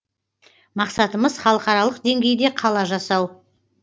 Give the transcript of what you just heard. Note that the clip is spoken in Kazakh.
мақсатымыз халықаралық деңгейде қала жасау